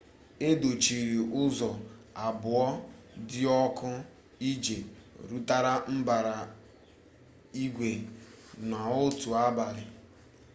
e dochiri ụzọ abụọ dị ọkụ iji rụtụrụ mbara igwe n'otu abalị